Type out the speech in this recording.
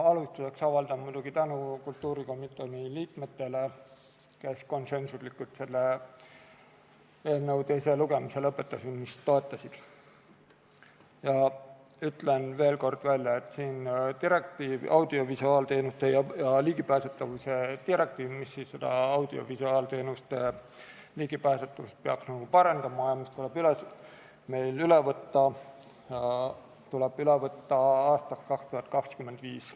Ma alustuseks avaldan muidugi tänu kultuurikomisjoni liikmetele, kes konsensuslikult selle eelnõu teise lugemise lõpetamist toetasid, ja ütlen veel kord, et audiovisuaalteenuste ja ligipääsetavuse direktiiv, mis peaks audiovisuaalteenustele ligipääsetavust parandama ja mis tuleb meil üle võtta, tuleb üle võtta aastaks 2025.